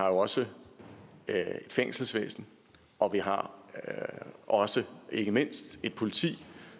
også fængselsvæsen og vi har også ikke mindst et politi